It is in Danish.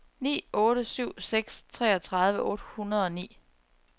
ni otte syv seks treogtredive otte hundrede og ni